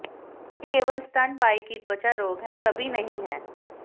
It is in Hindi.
यह केवल स्तनपायी कि त्वचा रोग है कभी नहीं है